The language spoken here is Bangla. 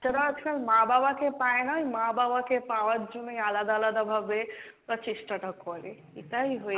বাচ্চারা আজকাল মা বাবাকে পাইনা, মা বাবাকে পাওয়ার জন্যই আলাদা আলাদা ভাবে ওরা চেষ্টাটা করে এটাই হয়ে,